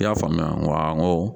I y'a faamuya n ko awɔ n ko